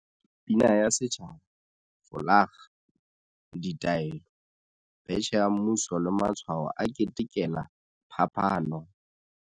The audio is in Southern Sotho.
Pina ya setjhaba, folakga, ditaelo, betjhe ya mmuso le matshwao a ketekela phapano.